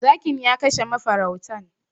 Zakin ya kashe mafarautan.